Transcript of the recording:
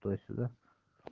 туда сюда